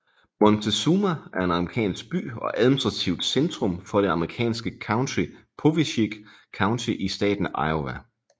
Montezuma er en amerikansk by og administrativt centrum for det amerikanske county Poweshiek County i staten Iowa